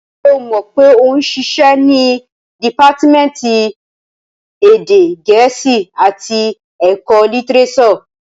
Ṣé o mọ̀ pé ó ń ṣiṣẹ́ ní dìpátímẹ́ǹtì ti èdè gẹ̀ẹ́sì àti ẹ̀kọ́ litirésọ̀?